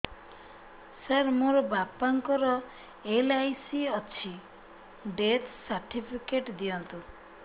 ସାର ମୋର ବାପା ଙ୍କର ଏଲ.ଆଇ.ସି ଅଛି ଡେଥ ସର୍ଟିଫିକେଟ ଦିଅନ୍ତୁ